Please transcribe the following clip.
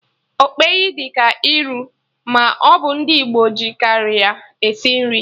Okpeyi dị ka iru, ma ọ bụ ndị Igbo ji karị ya esi nri